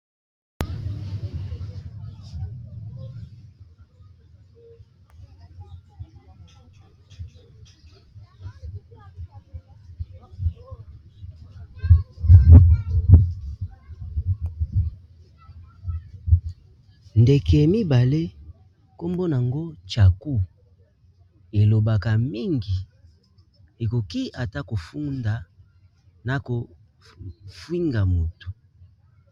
Ndeke mibale nkombo nango tshaku elobaka mingi ekoki ata kofunda na kofinga motu.